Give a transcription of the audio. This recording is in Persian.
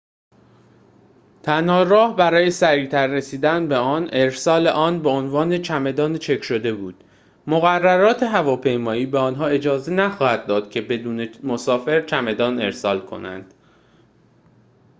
تنها راه برای سریعتر رسیدن به آن ارسال آن به عنوان چمدان چک شده بود مقررات هواپیمایی به آنها اجازه نخواهد داد که بدون مسافر چمدان ارسال کنند